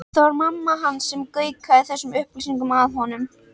Það var mamma hans sem gaukaði þessum upplýsingum að honum.